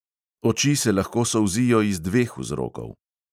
Oči se lahko solzijo iz dveh vzrokov.